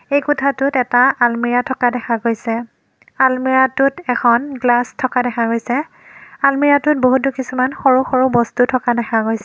এই কোঠাটোত এটা আলমিৰা থকা দেখা গৈছে আলমিৰা টোত এখন গ্লাছ থকা দেখা গৈছে আলমিৰা টোত বহুতো কিছুমান সৰু সৰু বস্তু থকা দেখা গৈছ--